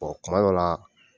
Ɔ kuma dɔ la.